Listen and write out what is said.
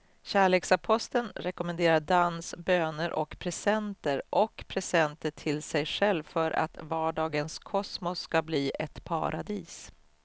Kärleksaposteln rekommenderar dans, böner och presenter och presenter till sig själv för att vardagens kosmos ska bli ett paradis.